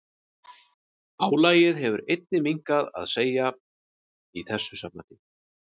Álagið hefur einnig mikið að segja í þessu sambandi.